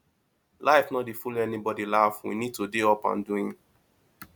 life no dey follow anybody laff we need to dey up and doing